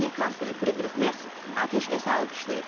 Almaniya kansleri Fridrix Mers atəşkəsi alqışlayıb.